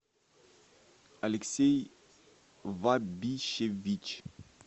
алексей вабищевич